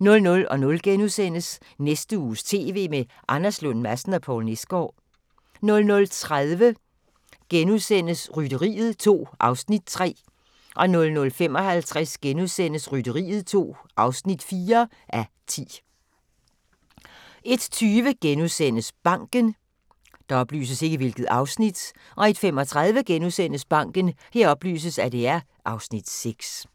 00:00: Næste uges TV med Anders Lund Madsen og Poul Nesgaard * 00:30: Rytteriet 2 (3:10)* 00:55: Rytteriet 2 (4:10)* 01:20: Banken * 01:35: Banken (Afs. 6)*